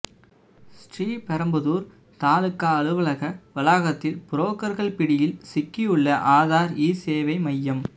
ஸ்ரீபெரும்புதூர் தாலுகா அலுவலக வளாகத்தில் புரோக்கர்கள் பிடியில் சிக்கியுள்ள ஆதார் இசேவை மையம்